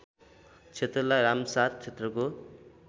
क्षेत्रलाई रामसार क्षेत्रको